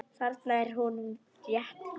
Þarna er honum rétt lýst.